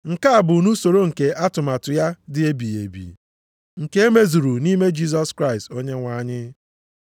Nke a bụ nʼusoro nke atụmatụ ya dị ebighị ebi, nke e mezuru nʼime Jisọs Kraịst Onyenwe anyị,